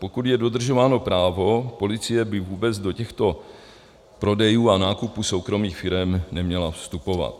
Pokud je dodržováno právo, policie by vůbec do těchto prodejů a nákupů soukromých firem neměla vstupovat.